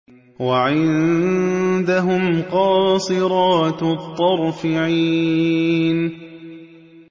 وَعِندَهُمْ قَاصِرَاتُ الطَّرْفِ عِينٌ